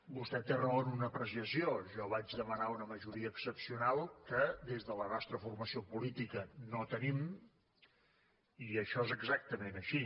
vostè té raó en una apreciació jo vaig demanar una majoria excepcional que des de la nostra formació política no tenim i això és exactament així